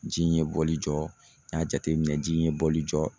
Ji in ye bɔli jɔ n y'a jateminɛ ji in ye bɔli jɔ